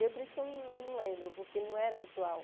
Por isso que eu eu não lembro, porque não era habitual.